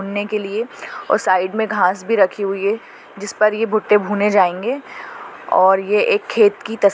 अं भुनने के लिए और साइड मे घास भी रखी हुए है जिसपर ये भुट्टे भुने जाएंगे और ये एक खेत की तस्--